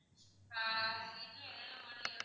ஆஹ் இதுல என்ன என்ன model லாம் இருக்கு